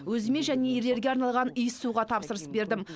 өзіме және ерлерге арналған иіссуға тапсырыс бердім